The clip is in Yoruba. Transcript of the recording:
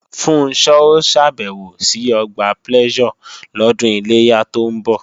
Funṣọ́ ó ṣàbẹ̀wò sí Ọgbà Pleasure lọ́dún Iléyá tó ń bọ̀